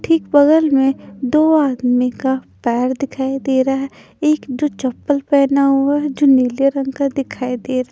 ठीक बगल में दो आदमी का पैर दिखाई दे रहा है एक जो चप्पल पहना हुआ है जो नीले रंग का दिखाई दे--